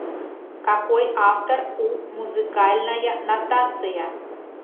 какой автор у музыкальная нотация